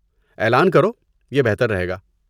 اعلان کرو، یہ بہتر رہے گا۔